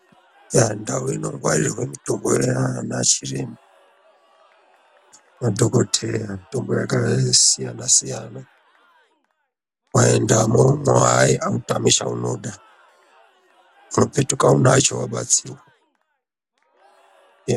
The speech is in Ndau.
Ndau inongwarirwe mutombo yaana chiremba madhokodheya mitombo yakasiyana siyana waendamwo aa autami chaunoda unopetuka unacho wabatsirwa eya.